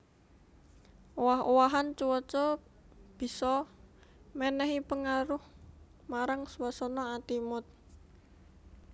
Owah owahan cuaca bisa mènèhi pangaruh marang swasana ati mood